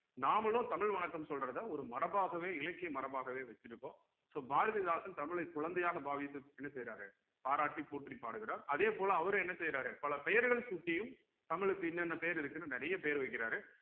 நாமளும் தமிழ் வணக்கம் சொல்றத ஒரு மரபாகவே இலக்கிய மரபாகவே வச்சிருக்கோம் so பாரதிதாசன் தமிழை குழந்தையாக பாவித்து என்ன செய்யறாரு பாராட்டி போற்றி பாடுகிறார் அதே போல அவரும் என்ன செய்யறாரு பல பெயர்கள் சூட்டியும் தமிழ்க்கு இன்னென்ன பெயர் இருக்குன்னு நிறைய பேர் வைக்கிறாரு